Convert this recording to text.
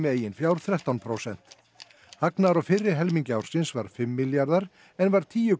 eigin fjár þrettán prósent hagnaður á fyrri helmingi ársins var fimm milljarðar en var tíu